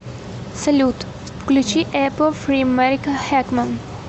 салют включи эпл фри мэрика хэкман